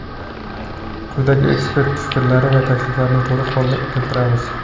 Quyida ekspert fikrlari va takliflarini to‘liq holda keltiramiz.